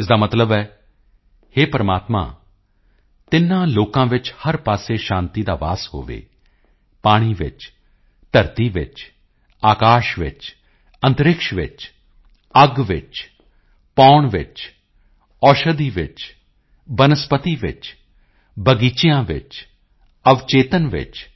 ਇਸ ਦਾ ਮਤਲਬ ਹੈ ਹੇ ਪ੍ਰਮਾਤਮਾ ਤਿੰਨਾਂ ਲੋਕਾਂ ਵਿੱਚ ਹਰ ਪਾਸੇ ਸ਼ਾਂਤੀ ਦਾ ਵਾਸ ਹੋਵੇ ਪਾਣੀ ਵਿੱਚ ਧਰਤੀ ਵਿੱਚ ਆਕਾਸ਼ ਵਿੱਚ ਅੰਤਰਿਕਸ਼ ਵਿੱਚ ਅੱਗ ਵਿੱਚ ਪੌਣ ਵਿੱਚ ਔਸ਼ਧੀ ਵਿੱਚ ਬਨਸਪਤੀ ਵਿੱਚ ਬਗੀਚਿਆਂ ਵਿੱਚ ਅਵਚੇਤਨ ਵਿੱਚ